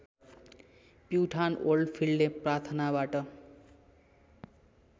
प्युठान ओल्डफिल्डले प्राथनाबाट